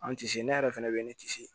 An tise ne yɛrɛ fɛnɛ bɛ ne tisi